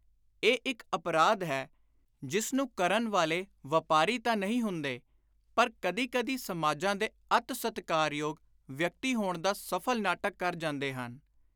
ਇਹ ਇਕ ਅਪਰਾਧ ਹੈ ਜਿਸ ਨੂੰ ਕਰਨ ਵਾਲੇ ਵਾਪਾਰੀ ਤਾਂ ਨਹੀਂ ਹੁੰਦੇ ਪਰ ਕਦੀ ਕਦੀ ਸਮਾਜਾਂ ਦੇ ਅੱਤ ਸਤਿਕਾਰਯੋਗ ਵਿਅਕਤੀ ਹੋਣ ਦਾ ਸਫਲ ਨਾਟਕ ਕਰ ਜਾਂਦੇ ਹਨ।